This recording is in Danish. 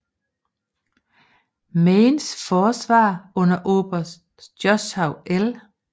Maines forsvar under oberst Joshua L